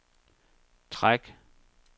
træk